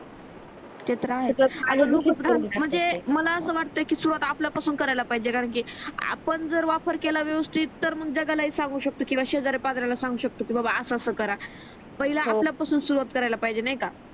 ते तर आहेस म्हणजे मला अस वाटते कि सुरुवात आपल्या पासून करायला पाहिजे कारण कि आपण जर वापर केला व्यवस्तीत तर जगालाहि सांगू शकतो किंवा शेजार्या पाजार्याला सांगू शकतो कि बा अस अस करा पहिला आपल्या पासून सुरुवात करायला पाहिजे नाहीका